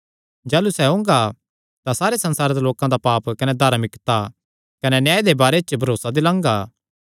जाह़लू सैह़ ओंगा तां पाप कने धार्मिकता कने न्याय दे बारे च संसारे दे लोकां दा शक करगा